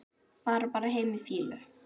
Fara bara heim í fýlu?